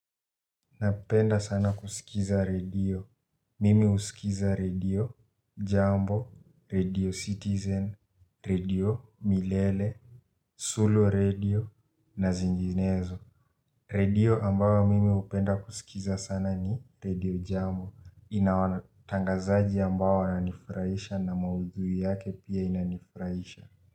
Napenda sana kusikiza radio. Mimi husikiza radio jambo, radio citizen, radio milele, sulu radio na zinginezo. Radio ambayo mimi hupenda kusikiza sana ni radio jambo. Ina watangazaji ambao wananifurahisha na maudhui yake pia inanifurahisha.